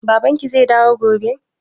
Babanki zai dawo gobe?